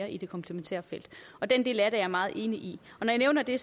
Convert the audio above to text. i det komplementære felt den del af det er jeg meget enig i når jeg nævner det